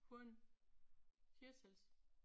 Hun Hirtshals